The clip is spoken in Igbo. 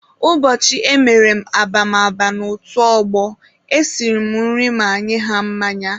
Ụbọchị emere m ababama n'otu ọgbọ, esiri m nri ma nye ha mmanya.